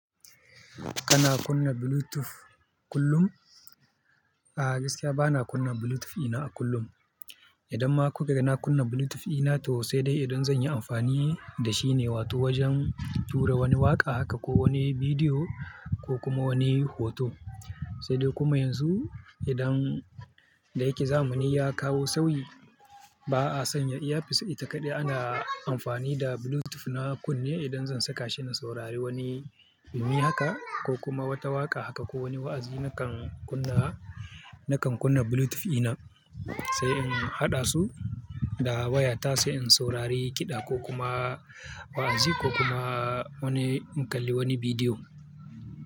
Kana kunna Bluetooth kullum? A gaskiya bana kunna Bluetooth ina kullum. Idan ma kuka ga na kunna Bluetooth ɗina to sai dai idan zan yi amfani da shi ne, wato wajen tura wani waƙa haka ko wani bidiyo ko kuma wani hoto. Sai dai kuma yanzu idan da yake zamani ya kawo sauyi, ba a sanya earpiece ita kaɗai, ana amfani da Bluetooth na kunne idan zan saka shi in saurari wani yumi haka ko kuma wata waƙa haka ko wani wa'azi nakan kunna, nakan kunna Bluetooth ina sai in haɗa su da waya ta sai in saurari kiɗa ko kuma wa'azi ko kuma wani in kalli wani bidiyo.